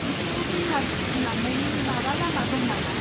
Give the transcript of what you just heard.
बिखौ दैमा सेरसिम लांनायनि माबा लामा दं नामा?